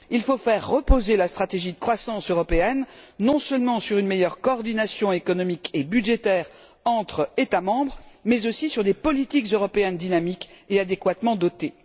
Il faut faire reposer la stratégie de croissance européenne non seulement sur une meilleure coordination économique et budgétaire entre États membres, mais aussi sur des politiques européennes dynamiques et adéquatement dotées.